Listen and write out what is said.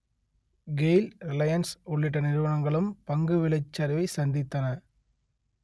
Gayle Reliance உள்ளிட்ட நிறுவனங்களும் பங்கு விலைச் சரிவைச் சந்தித்தன